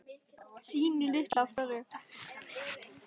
Sínu litlu af hverju.